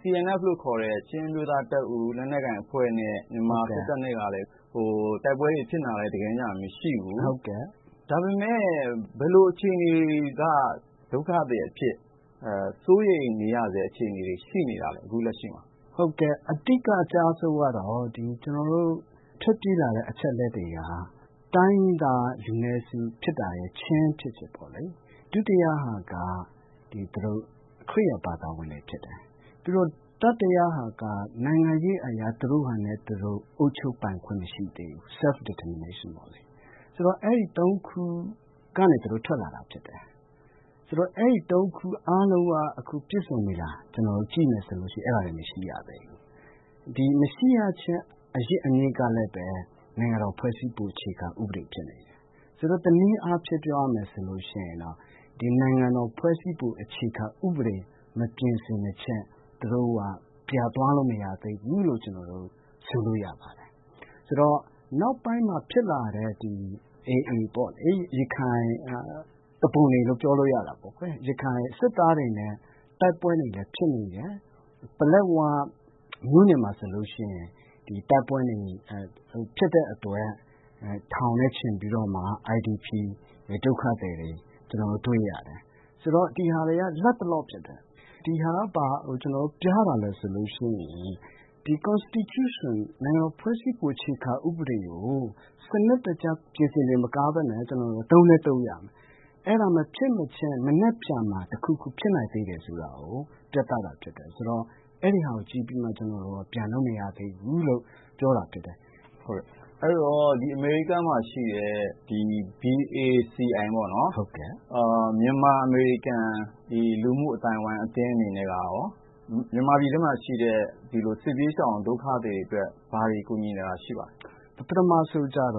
CNF လို့ခေါ်တဲ့ ချင်းအမျိုးသားတပ်ဦး လက်နက်ကိုင်အဖွဲ့နဲ့ မြန်မာစစ်တပ်နဲ့ က တိုက်ပွဲတွေဖြစ်နေတာလည်း မရှိဘူး ၊ ဒါပေမယ့် ဘယ်လိုအခြေအနေက ဒုက္ခသည်အဖြစ် စိုးရိမ်ရတဲ့ အခြေအနေတွေ ရှိနေတာလဲ အခုလက်ရှိမှာ။ ဟုတ်ကဲ့ အဓိကအကျဆုံးက ကျနော်တို့ ထွက်ပြေးလာတဲ့ အချက်အလက်တွေက တိုင်းရင်းသားလူနည်းစု ဖြစ်တာ ချင်းဖြစ်တယ်ပေါ့နော် ၊ ဒုတိယက ခရစ်ယာန်ဘာသာဝင်တွေဖြစ်တယ်။ ပြီးတော့ တတိယက နိုင်ငံရေးအရေ သူတို့ဟာသူတို့ အုပ်ချုပ်ပိုင်ခွင့်မရှိသေးဘူး self determination ပေါ့လေ။ ဆိုတော့ အဲဒီ ၃ ခု ကနေထွက်လာတာဖြစ်တယ်။ ဆိုတော့ အဲဒီ ၃ ခု ပြည့်စုံပြီလားလို့ ကျနော်တို့ ကြည့်မယ်ဆိုရင် အဲဒါတွေ မရှိသေးဘူး။ မရှိရခြင်းအရင်းအမြစ်ကလည်း နိုင်ငံတော်ဖွဲ့စည်းပုံ အခြေခံဥပဒေဖြစ်နေတယ်။ ဆိုတော့ တနည်းအားဖြင့် ပြောရမယ်ဆိုရင် ဒီနိုင်ငံတော်ဖွဲ့စည်းပုံ အခြေခံဥပဒေ မပြင်ဆင်မခြင်း ပြန်သွားလို့မရသေးဘူးလို့ ဆိုလိုရပါတယ်။ ဆိုတော့ နောက်ပိုင်းမှာ ဖြစ်လာတဲ့ AA ပေါ့လေ ရခိုင်စစ်သားတွေနဲ့ တိုက်ပွဲတွေလည်း ဖြစ်နေတယ်။ ပလက်ဝမြို့နယ်မှာဆိုရင် ဒီတိုက်ပွဲတွေ ဖြစ်တဲ့အတွက် ထောင်နဲ့ချီပြီးတော့မှ IDP ဒုက္ခသည်တွေ ကျနော်တို့တွေ့ရတယ်။ ဆိုတော့ ဒါတွေက လက်တလောဖြစ်တယ်။ ဒါကဘာကို ပြတာလဲဆိုရင် ဒီနိုင်ငံတော်ဖွဲ့စည်းပုံ အခြေခံဥပဒေကို စနစ်တကျ ပြင်ဆင်တာမကပဲနဲ့ ကျနော်တို့ သုံးလည်း သုံးရမယ်။ အဲဒါမဖြစ်မချင်း မနက်ဖြန်မှာ တခုခုဖြစ်နိုင်တယ်ဆိုတာကို ပြတာဖြစ်တယ် ဆိုတော့အဲဒါကို ကြည့်ပြီးမှ ကျနော်တို့ ပြန်လို့မရသေးဘူးလို့ ပြောတာဖြစ်တယ်။ အမေရိကန်မှာရှိတဲ့ BACI ပေါ့နော် မြန်မာအမေရိကန် လူမှုအသိုင်းအဝိုင်းအသင်းတွေအနေနဲ့ကရော မြန်မာပြည်မှာရှိတဲ့ စစ်ဘေးရှောင်ဒုက္ခသည်တွေအတွက် ဘာတွေကူညီနေတာရှိပါသလဲ။ ပထမဦးဆုံးတော့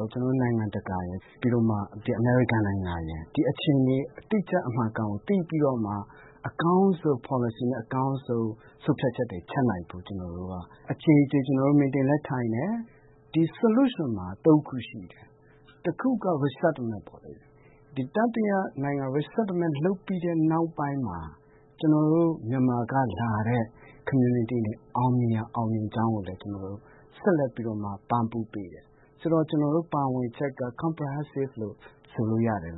နိုင်ငံတကာရယ် ပြီးတော့ အမေရိကန်နိုင်ငံရယ် ဒီအခြေအနေတွေ အတိအကျအမှန်အကန်ကို သိပြီးတော့မှ အကောင်းဆုံး ပေါ်လစီနဲ့၊ အကောာင်းဆုံး ဆုံးဖြတ်ချက်တွေချနိုင်ဖို့ ကျနော်တို့ အကြိမ်ကြိမ် meeting တွေလည်းထိုင်တယ်။ ဒီ Solution မှာ ၃ ခုရှိတယ်။ တခုက Resettlement ပေါ့လေ တတိယနိုင်ငံတွေမှာ Resettlement လုပ်ပြီးတဲ့ နောက်ပိုင်းမှာ ကျနော်တို့ မြန်မာက လာတဲ့ community တွေအောင်မြင်ရင် အောင်မြင်တဲ့အကြောင်းကိုလည်း ကျနော်တို့က ဆက်လက်ပြီးပံ့ပိုးပေးတယ်။ ဆိုတော့ ကျနော်တို့ ပါဝင်တာက comprehensive လို့ ဆိုလို့ရမယ်လို့